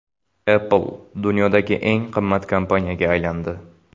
Apple dunyodagi eng qimmat kompaniyaga aylandi.